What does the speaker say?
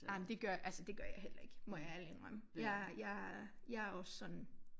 Ej men det gør altså det gør jeg heller ikke må jeg ærligt indrømme jeg jeg jeg også sådan